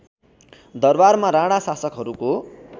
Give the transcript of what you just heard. दरबारमा राणा शासकहरूको